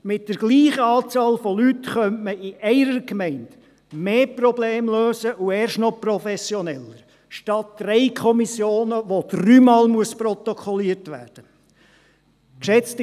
Mit derselben Anzahl von Leuten könnte man in einer Gemeinde mehr Probleme lösen und dies erst noch professioneller als mit drei Kommissionen, wodurch dreimal protokolliert werden muss.